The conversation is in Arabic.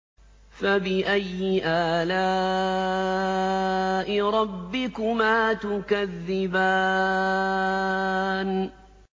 فَبِأَيِّ آلَاءِ رَبِّكُمَا تُكَذِّبَانِ